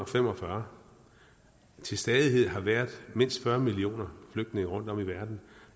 fem og fyrre til stadighed har været mindst fyrre millioner flygtninge rundtom i verden